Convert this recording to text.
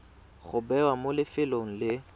go bewa mo lefelong le